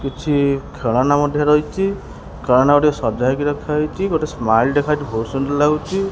କିଛି ଖେଳନା ମଧ୍ୟ ରହିଚି ଖେଳନା ଗୁଡ଼ିକ ସଜା ହେଇକି ରଖାହେଇଚି ଗୋଟେ ଦେଖାଯାଉଚି ବହୁତ୍ ସୁନ୍ଦର୍ ଲାଗୁଚି।